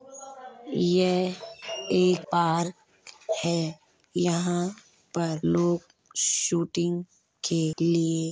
यह एक पार्क है। यहाँ पर लोग शूटिंग के लिए --